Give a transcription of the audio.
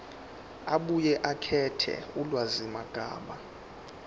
abuye akhethe ulwazimagama